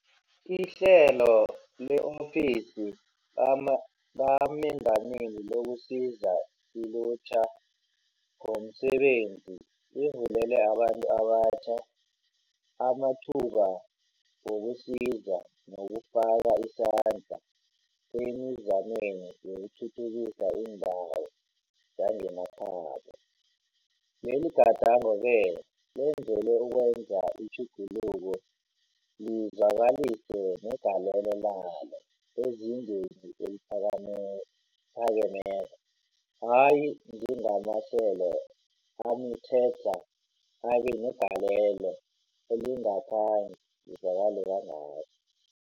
IHlelo le-Ofisi kaMengameli lokuSiza iLutjha ngomSebenzi livulela abantu abatjha amathuba wokusiza nokufaka isandla emizameni yokuthuthukisa iindawo zangemakhabo. Leligadango-ke lenzelelwe ukwenza itjhuguluko lizwakalise negalelo lalo ezingeni eliphakemeko, hayi njengamahlelo amikghedlha abe negalelo elingakhange lizwakale kangako.